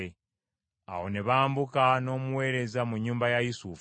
Awo ne bambuka n’omuweereza mu nnyumba ya Yusufu,